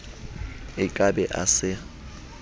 a ka be a sa